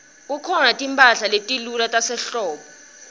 kukhona timphahla letilula tasehlobo